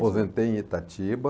Aposentei em Itatiba.